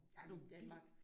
I Danmark